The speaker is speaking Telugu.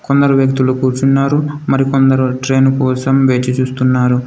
కొందరు వ్యక్తులు కూర్చున్నారు మరికొందరు ట్రైన్ కోసం వేచి చూస్తున్నారు.